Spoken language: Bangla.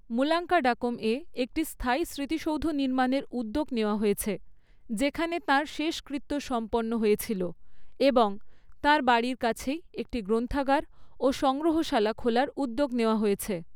মুলাঙ্কাডাকমে একটি স্থায়ী স্মৃতিসৌধ নির্মাণের উদ্যোগ নেওয়া হয়েছে, যেখানে তাঁর শেষকৃত্য সম্পন্ন হয়েছিল, এবং, তাঁর বাড়ির কাছেই একটি গ্রন্থাগার ও সংগ্রহশালা খোলার উদ্যোগ নেওয়া হয়েছে।